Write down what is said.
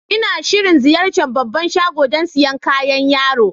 N'na shirin ziyace'n babban shagon dan siyan kayan yaro.